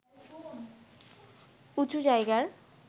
উঁচু জায়গার